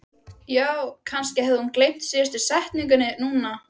Já, kannski hafði hún gleymt síðustu setningunni núna.